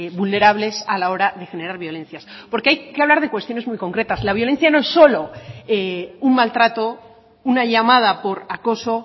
vulnerables a la hora de generar violencias porque hay que hablar de cuestiones muy concretas la violencia no es solo un maltrato una llamada por acoso